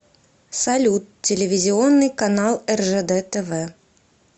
салют телевизионный канал ржд тв